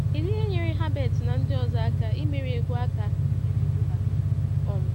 Kedu ihe nyere Herbert na ndị ọzọ aka imeri egwu aka imeri egwu ha? um